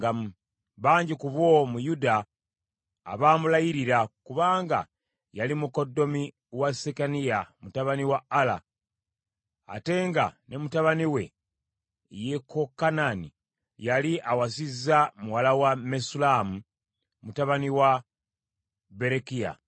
Bangi ku bo mu Yuda abaamulayirira, kubanga yali mukoddomi wa Sekaniya mutabani wa Ala, ate nga ne mutabani we Yekokanani yali awasizza muwala wa Mesullamu mutabani wa Berekiya.